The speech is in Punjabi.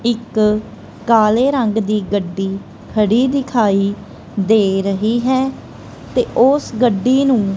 ਇੱਕ ਕਾਲੇ ਰੰਗ ਦੀ ਗੱਡੀ ਖੜੀ ਦਿਖਾਈ ਦੇ ਰਹੀ ਹੈ ਤੇ ਉਸ ਗੱਡੀ ਨੂੰ।